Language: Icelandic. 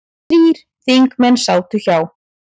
Þrír þingmenn sátu hjá